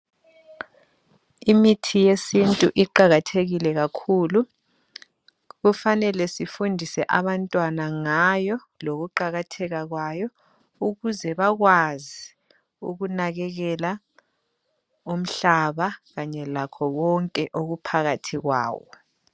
Imithi yesintu iqakathekile kakhulu kufanele sifundise abantwana ngayo lokuqakatheka kwayo ukuze bakwazi ukunakekela umhlaba kanye lakho konke okuphakathi kwawo.